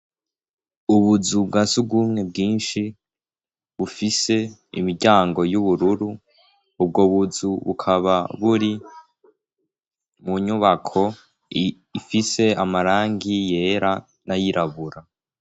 Ubuzu bwa surwumwe bwinshi bufise imiryango y'ubururu. Ubwo buzu bukaba buri mu nyubako ifise amarangi yera n'ayirabura.